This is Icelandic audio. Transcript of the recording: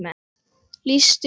lýstu því?